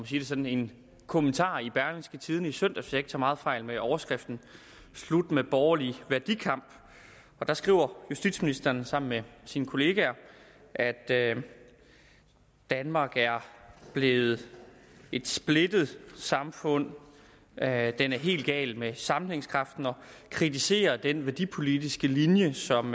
sige det sådan kommentar i berlingske tidende i søndags hvis jeg ikke tager meget fejl med overskriften slut med borgerlig værdikamp der skriver justitsministeren sammen med sine kollegaer at danmark er blevet et splittet samfund at den er helt gal med sammenhængskraften og han kritiserer den værdipolitiske linje som